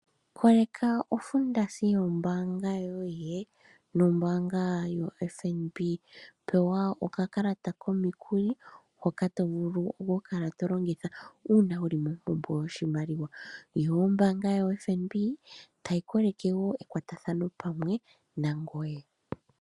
Koleka ofundasi yombaanga yoye nombaanga yofnb, pewa okakalata komikuli hoka to vulu okukala tolongitha una wuli mompumbwe yoshimaliwa, yo ombaanga yoFnb tayi koleke wo ekwatathano pamwe nangoye.